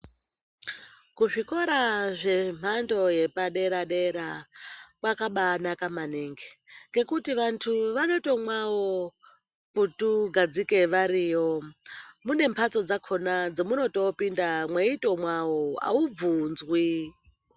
Kuzvikora zvemhando yepadera-dera, kwakabaanaka maningi, ngekuti vantu vanoto mwawo putugadzike variyo, mune mbatso dzakona dzamuno topinda meyito mwawo awubvunzwi.